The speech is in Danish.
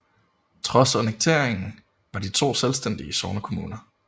Trods annekteringen var de to selvstændige sognekommuner